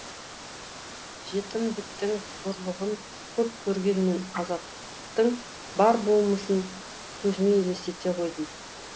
жетімдіктің қорлығын көп көрген мен азаттың бар болмысын көзіме елестете қойдым